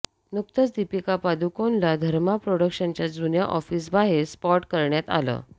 नुकतच दीपिका पादुकोनला धर्मा प्रॉडक्शनच्या जुन्या ऑफिसबाहेर स्पॉट करण्यात आलं